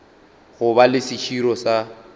go ba le seširo sa